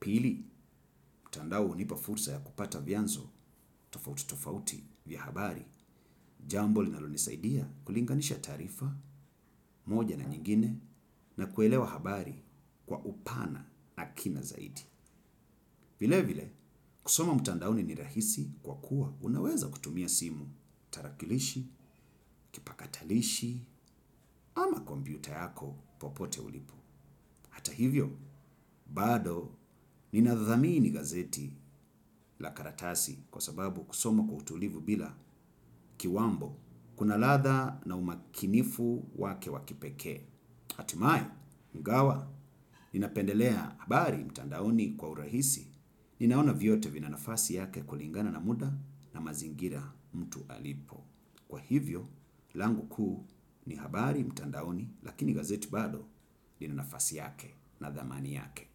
Pili, mtandao hunipa fursa ya kupata vyanzo tofauti tofauti vya habari. Jambo linalonisaidia kulinganisha taarifa moja na nyingine na kuelewa habari kwa upana na kina zaidi. Vilevile, kusoma mtandaoni ni rahisi kwa kuwa unaweza kutumia simu, tarakilishi, kipakatalishi ama kompyuta yako popote ulipo. Hata hivyo, bado ninathamini gazeti la karatasi kwa sababu kusoma kwa utulivu bila kiwambo kuna ladha na umakinifu wake wa kipekee. Hatimaye, ingawa ninapendelea habari mtandaoni kwa urahisi ninaona vyote vina nafasi yake kulingana na muda na mazingira mtu alipo kwa hivyo, langu kuu ni habari mtandaoni lakini gazeti bado lina nafasi yake na thamani yake.